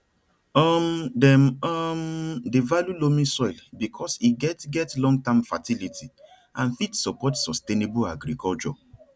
um dem um dey value loamy soil because e get get longterm fertility and fit support sustainable agriculture